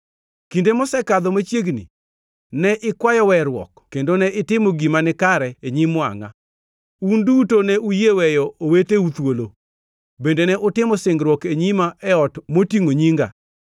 Kinde mosekadho machiegni, ne ikwayo weruok kendo ne itimo gima nikare e nyim wangʼa: Un duto ne uyie weyo oweteu thuolo. Bende ne utimo singruok e nyima e ot motingʼo Nyinga.